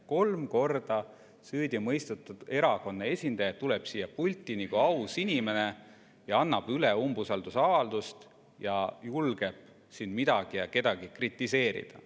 Kolm korda süüdi mõistetud erakonna esindaja tuleb siia pulti nagu aus inimene, annab üle umbusaldusavalduse ja julgeb siin midagi ja kedagi kritiseerida.